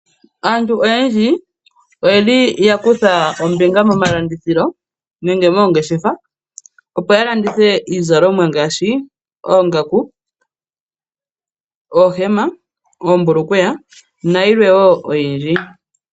Aantu oyendji oye li yakutha ombinga momalandithilo nenge moongeshefa, opo yalandithe iizalomwa ngaashi oongaku, oohema, oombulukweya, nayilwe wo oyindji.